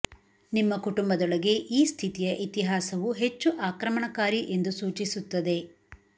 ನಿಮ್ಮ ಕುಟುಂಬದೊಳಗೆ ಈ ಸ್ಥಿತಿಯ ಇತಿಹಾಸವು ಹೆಚ್ಚು ಆಕ್ರಮಣಕಾರಿ ಎಂದು ಸೂಚಿಸುತ್ತದೆ